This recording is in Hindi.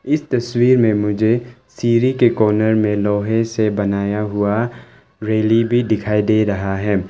इस तस्वीर में मुझे सीढ़ी के कॉर्नर में लोहे से बनाया हुआ रैली भी दिखाई दे रहा है।